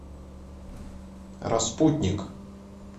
распутник